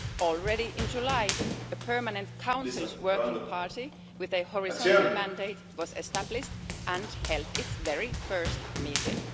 Already in July, a permanent Council working party with a horizontal mandate was established and held its first meeting.